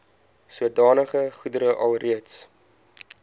sodanige goedere alreeds